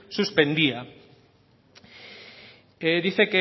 suspendía dice